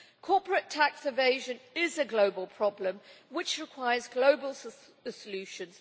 Corporate tax evasion is a global problem which requires global solutions.